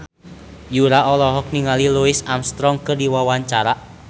Yura olohok ningali Louis Armstrong keur diwawancara